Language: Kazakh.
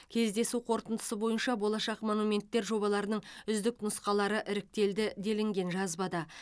кездесу қорытындысы бойынша болашақ монументтер жобаларының үздік нұсқалары іріктелді делінген жазбада